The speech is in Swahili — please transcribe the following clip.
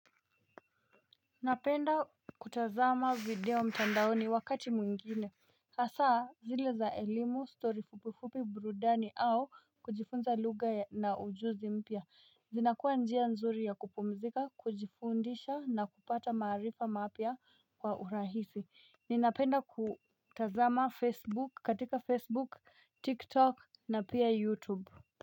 Napenda kutazama video mtandaoni wakati mwingine hasaa zile za elimu, story fupifupi burudani au kujifunza lugha ya na ujuzi mpya zinakuwa njia nzuri ya kupumzika, kujifundisha na kupata maarifa mapya kwa urahisi. Ninapenda kutazama Facebook katika Facebook, TikTok na pia YouTube.